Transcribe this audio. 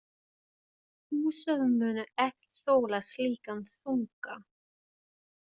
Húsið muni ekki þola slíkan þunga.